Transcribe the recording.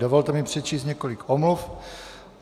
Dovolte mi přečíst několik omluv.